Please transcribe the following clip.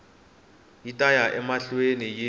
yi ta ya emahlweni yi